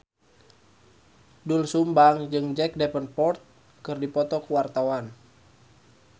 Doel Sumbang jeung Jack Davenport keur dipoto ku wartawan